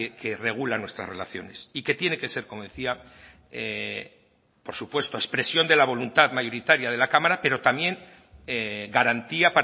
que regula nuestras relaciones y que tiene que ser como decía por supuesto expresión de la voluntad mayoritaria de la cámara pero también garantía